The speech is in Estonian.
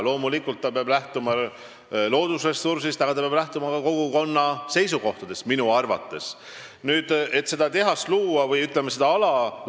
Loomulikult peab ta lähtuma loodusressursist, aga ta peab minu arvates arvestama ka kogukonna seisukohti.